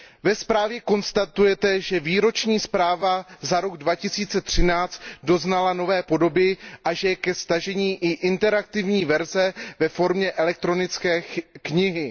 Ve zprávě konstatujete, že výroční zpráva za rok 2013 doznala nové podoby a že je ke stažení i interaktivní verze ve formě elektronické knihy.